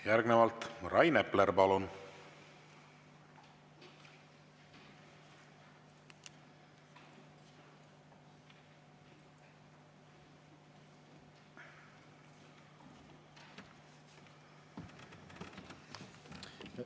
Järgnevalt Rain Epler, palun!